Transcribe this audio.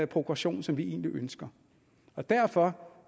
progression som vi egentlig ønsker og derfor